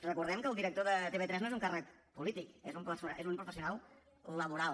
recordem que el director de tv3 no és un càrrec polític és un professional laboral